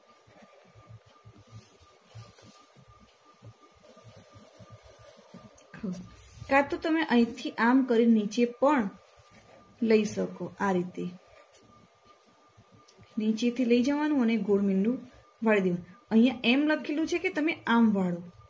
કાંતો તમે અહીથી આમ કરીન નીચે પણ લઈ શકો આ રીતે નીચેથી લઈ જવાનું અને ગોળ મીંડું વાળી દેવું.